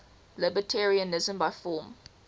libertarianism by form